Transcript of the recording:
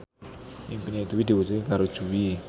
impine Dwi diwujudke karo Jui